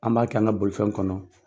An b'a kɛ an ka bolifɛn kɔnɔ.